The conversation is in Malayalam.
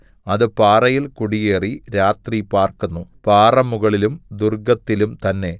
അത് പാറയിൽ കുടിയേറി രാത്രി പാർക്കുന്നു പാറമുകളിലും ദുർഗ്ഗത്തിലും തന്നെ